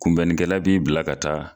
Kunbɛnnikɛla b'i bila ka taa.